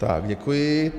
Tak děkuji.